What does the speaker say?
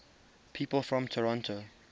people from toronto